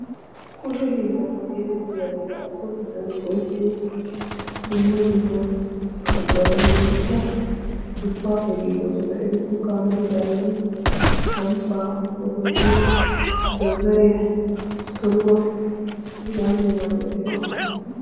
Kushe hiilata getetiyaageeta so giddon go''etiyo dumma dumma buqurata hegetikka dupappe giigoosona etuppekka amaridaageeti samppa, massopiyaaa, zazzariya soruwaaa heganne hega maalatiyaageeta.